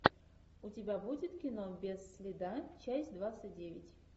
у тебя будет кино без следа часть двадцать девять